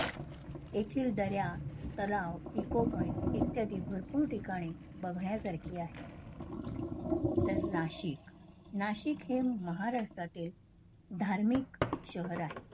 येथील दऱ्या, तलाव ecopoint इत्यादी भरपूर ठिकाणी बघण्यासारखे आहे. त्यानंतर नाशिक, नाशिक हे महाराष्ट्राचे धार्मिक शहर आहे